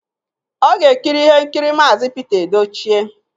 Ọ ga-ekiri ihe nkiri Maazi Pete Edochie